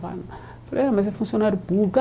Falei, ah mas é funcionário público.